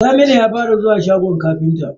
Saminu ya fara zuwa shagon ƙafinta.